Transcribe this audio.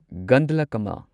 ꯒꯟꯗꯂꯀꯝꯃ